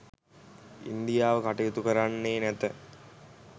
ඉන්දියාව කටයුතු කරන්නේ නැත.